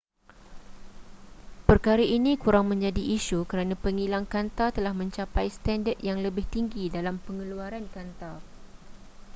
perkara ini kurang menjadi isu kerana pengilang kanta telah mencapai standard yang lebih tinggi dalam pengeluaran kanta